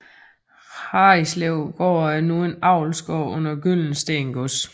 Harritslevgård er nu en avlsgård under Gyldensteen Gods